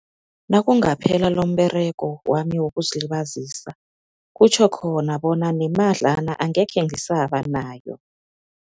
Nakungaphela lomberego wami wokuzilibazisa, kutjho khona bona nemadlana angekhe ngisaba nayo.